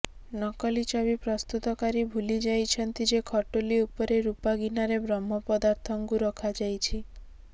ନକଲି ଛବି ପ୍ରସ୍ତୁତକାରୀ ଭୁଲି ଯାଇଛନ୍ତି ଯେ ଖଟୁଲି ଉପରେ ରୂପାଗିନାରେ ବ୍ରହ୍ମ ପଦାର୍ଥଙ୍କୁ ରଖାଯାଇଛି